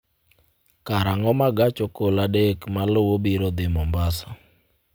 karang'o ma gach okolo adek maluwo biro dhi mombasa